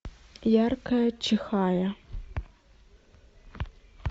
яркая чихая